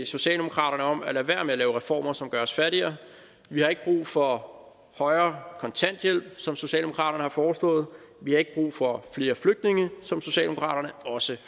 socialdemokraterne om at lade være med at lave reformer som gør os fattigere vi har ikke brug for højere kontanthjælp som socialdemokraterne har foreslået vi har ikke brug for flere flygtninge som socialdemokraterne også